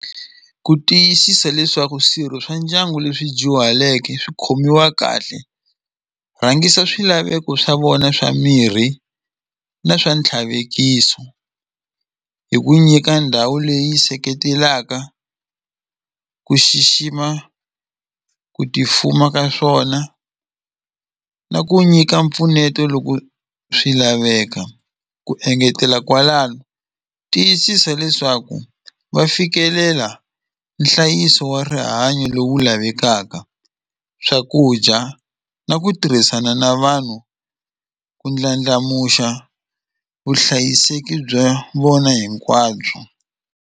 Ku tiyisisa leswaku swirho swa ndyangu leswi dyuhaleke swi khomiwa kahle rhangisa swilaveko swa vona swa mirhi na swa ntlhavekiso hi ku nyika ndhawu leyi seketelaka ku xixima ku ti fuma ka swona na ku nyika mpfuneto loko swi laveka ku engetela kwalano tiyisisa leswaku va fikelela nhlayiso wa rihanyo lowu lavekaka swakudya na ku tirhisana na vanhu ku ndlandlamuxa vuhlayiseki bya vona hinkwabyo.